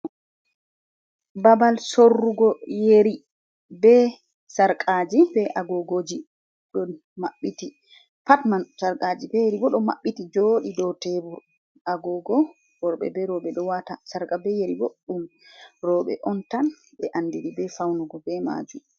Ɓabal sorrugo yeri be sarqaji be agogoji, ɗo maɓɓiti pat man sarqaji be yeri ɓo ɗo mabbiti jodi dow tebur, agogo worɓe be roɓe do wata, sarqa be yeri boɗɗum roɓe on tan be andiri be faunugo be majum.